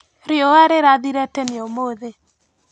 Riũa rĩrathire tene ũmũthĩ.